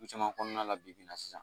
Caman kɔnɔna la bibi in na sisan